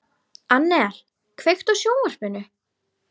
Annel, kveiktu á sjónvarpinu.